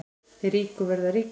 Þeir ríku verða ríkari